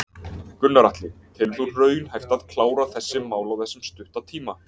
Gunnar Atli: Telur þú raunhæft að klára þessi mál á þessum stutta tíma?